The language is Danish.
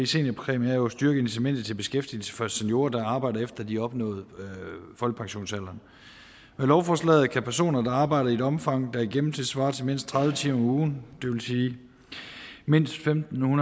seniorpræmie jo at styrke incitamentet til beskæftigelse for seniorer der arbejder efter at de har opnået folkepensionsalderen med lovforslaget kan personer der arbejder i et omfang der i gennemsnit svarer til mindst tredive timer om ugen det vil sige mindst femten